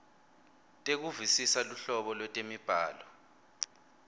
tekuvisisa luhlobo lwetemibhalo